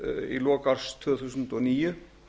í lok árs tvö þúsund og níu